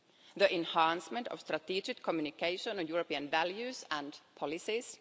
the enhancement of strategic communication on European values and policies